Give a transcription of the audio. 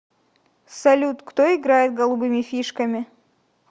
салют кто играет голубыми фишками